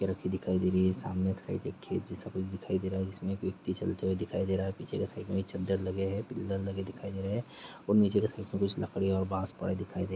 रखी दिखाई दे रही है सामने एक साइड खेत जैसा कुछ दिखाई दे रहा है जिसमें एक व्यक्ति चलते हुए दिखाई दे रहा है पीछे क साइड में चद्दर लगे है पिल्लर लगे दिखाई दे रहे है और नीचे की साइड में कुछ लकड़ियाँ और बास पड़े हुए दिखाई दे रहा हैं।